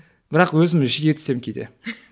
бірақ өзім жиі түсем кейде